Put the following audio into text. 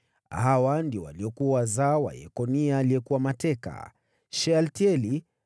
Hawa ndio waliokuwa wazao wa Yekonia aliyekuwa mateka: Shealtieli mwanawe,